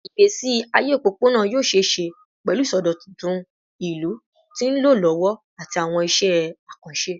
Igbesi aye opopona yoo ṣee ṣe pẹlu isọdọtun ilu ti nlọ lọwọ ati awọn iṣẹ akanṣe